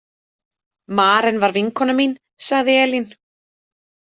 Maren var vinkona mín, sagði Elín.